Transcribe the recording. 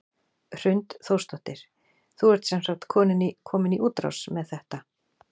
Hrund Þórsdóttir: Þú ert sem sagt komin í útrás með þetta?